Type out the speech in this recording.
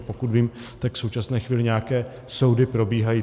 A pokud vím, tak v současné chvíli nějaké soudy probíhají.